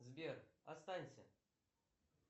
сбер останься